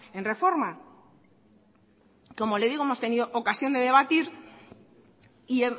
en reforma como le digo hemos tenido ocasión de debatir y